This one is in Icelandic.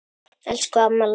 Elsku amma Lára.